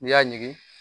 N'i y'a ɲigin